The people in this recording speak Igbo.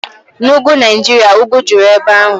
Na Ugwu Naijiria, ugwu juru ebe ahụ.